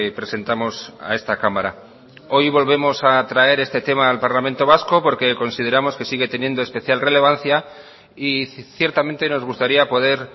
presentamos a esta cámara hoy volvemos a traer este tema al parlamento vasco porque consideramos que sigue teniendo especial relevancia y ciertamente nos gustaría poder